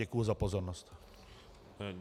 Děkuji za pozornost.